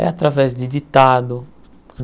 É através de ditado.